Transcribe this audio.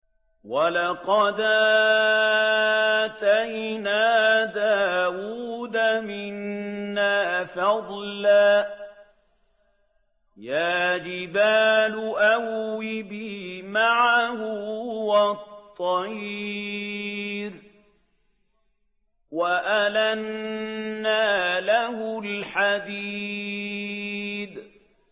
۞ وَلَقَدْ آتَيْنَا دَاوُودَ مِنَّا فَضْلًا ۖ يَا جِبَالُ أَوِّبِي مَعَهُ وَالطَّيْرَ ۖ وَأَلَنَّا لَهُ الْحَدِيدَ